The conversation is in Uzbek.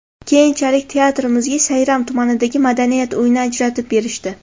Keyinchalik teatrimizga Sayram tumanidagi madaniyat uyini ajratib berishdi.